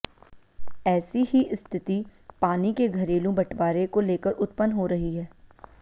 ऐसी ही स्थिति पानी के घरेलू बंटवारे को लेकर उत्पन्न हो रही है